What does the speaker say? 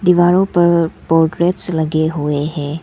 दीवारों पर पोट्रेट्स लगे हुए हैं।